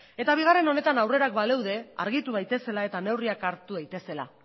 eta bigarren honetan aurrerapenak baleude argitu daitezela eta neurriak hartu daitezela